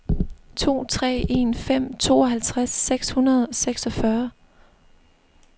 to tre en fem tooghalvtreds seks hundrede og seksogfyrre